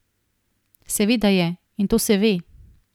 Seveda je, in to se ve.